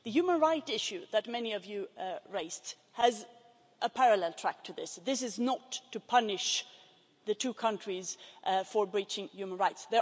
The human rights issue that many of you raised has a parallel track to this. This is not to punish the two countries for breaching human rights.